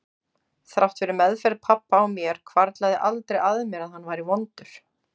Þrátt fyrir meðferð pabba á mér hvarflaði aldrei að mér að hann væri vondur.